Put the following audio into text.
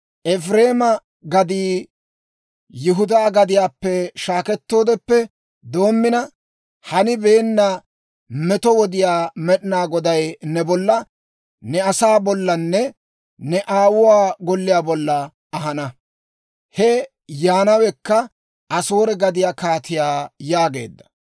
«Efireema gaddii Yihudaa gadiyaappe shaakettoodeppe doommina hanibeenna meto wodiyaa Med'inaa Goday ne bolla, ne asaa bollanne ne aawuwaa golliyaa bolla ahana; He yaanawekka Asoore gadiyaa kaatiyaa» yaageedda.